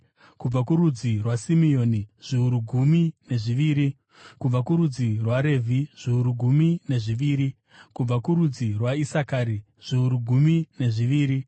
kubva kurudzi rwaSimeoni, zviuru gumi nezviviri, kubva kurudzi rwaRevhi, zviuru gumi nezviviri, kubva kurudzi rwaIsakari, zviuru gumi nezviviri,